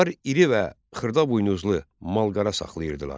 Onlar iri və xırda buynuzlu mal-qara saxlayırdılar.